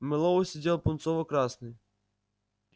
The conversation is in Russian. мэллоу сидел пунцово-красный